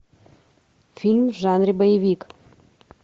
фильм в жанре боевик